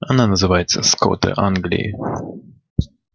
она называется скоты англии